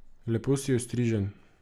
Lepo si ostrižen.